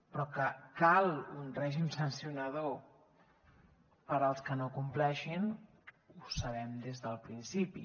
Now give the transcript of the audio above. però que cal un règim sancionador per als que no compleixin ho sabem des del principi